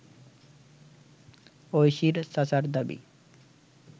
ঐশীর চাচার দাবি